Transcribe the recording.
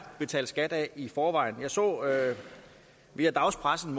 betalt skat af i forvejen jeg så via dagspressen